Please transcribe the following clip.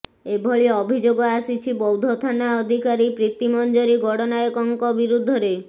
ଏଭଳି ଅଭିଯୋଗ ଆସିଛି ବୌଦ୍ଧ ଥାନା ଅଧିକାରୀ ପ୍ରୀତିମଞ୍ଜରୀ ଗଡ଼ନାୟକଙ୍କ ବିରୁଦ୍ଧରେ